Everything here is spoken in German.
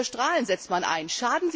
Was für Strahlen setzt man ein?